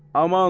Aman.